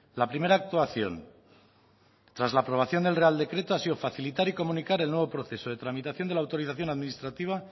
la primera actuación tras la aprobación del real decreto ha sido facilitar y comunicar el nuevo proceso de tramitación de la autorización administrativa